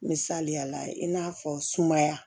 Misaliyala i n'a fɔ sumaya